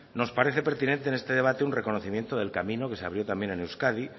nos parece pertinente en este debate un reconocimiento del camino que se abrió también en euskadi